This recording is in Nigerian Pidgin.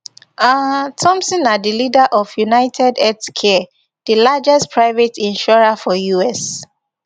um thompson na di leader of unitedhealthcare di largest private insurer for us